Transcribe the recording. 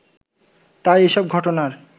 তাই এসব ঘটনার